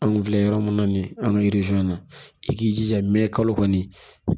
An kun filɛ yɔrɔ min na nin an ka na i k'i jija mɛ kalo kɔni